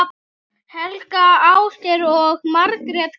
Helga, Ásgeir og Margrét Katrín.